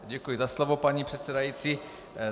Děkuji za slovo, paní předsedající.